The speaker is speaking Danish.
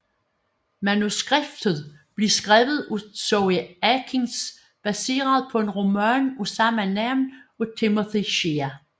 Manuskriptet blev skrevet af Zoë Akins baseret på en roman af samme navn af Timothy Shea